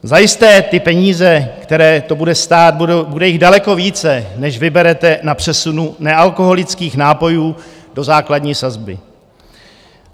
Zajisté ty peníze, které to bude stát, bude jich daleko více, než vyberete na přesunu nealkoholických nápojů do základní sazby.